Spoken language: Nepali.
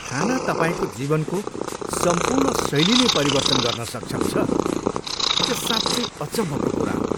खाना तपाईँको जीवनको सम्पूर्ण शैली नै परिवर्तन गर्न सक्षम छ, यो साँच्चै अचम्मको कुरा हो।